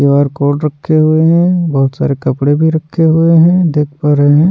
Q R code रखे हुए हैं बहुत सारे कपड़े भी रखे हुए हैं देख पा रहे हैं।